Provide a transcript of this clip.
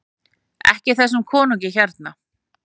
EKKI ÞESSUM KONUNGI HÉRNA!